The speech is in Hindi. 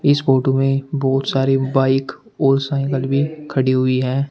इस फोटो में बहोत सारी बाइक और साइकल भी खड़ी हुई है।